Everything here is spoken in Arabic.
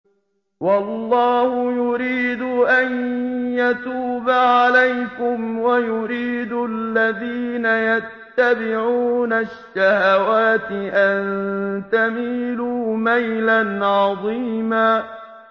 وَاللَّهُ يُرِيدُ أَن يَتُوبَ عَلَيْكُمْ وَيُرِيدُ الَّذِينَ يَتَّبِعُونَ الشَّهَوَاتِ أَن تَمِيلُوا مَيْلًا عَظِيمًا